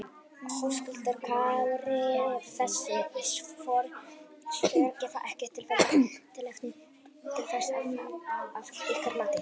Höskuldur Kári: Þessi svör gefa ekki tilefni til þess þá að ykkar mati?